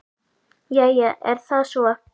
Jæja er það svo.